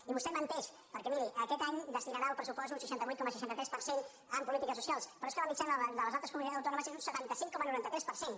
i vostè menteix perquè miri aquest any destinarà al pressupost un seixanta vuit coma seixanta tres per cent en polítiques socials però és que la mitjana de les altres comunitats autònomes és un setanta cinc coma noranta tres per cent